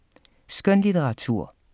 Skønlitteratur